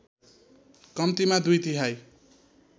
कम्तीमा दुई तिहाइ